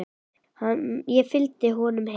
Ég fylgdi honum heim.